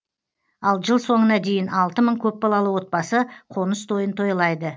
ал жыл соңына дейін алты мың көпбалалы отбасы қоныс тойын тойлайды